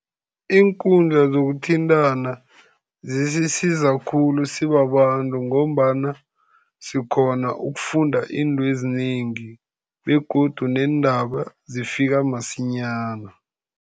Iinkundla zokuthintana zisisiza khulu sibabantu, ngombana sikghona ukufunda izinto ezinengi, begodu neendaba zifika masinyana.